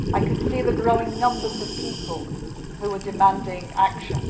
I could see the growing numbers of people who were demanding action.